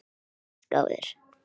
Þú varst góður.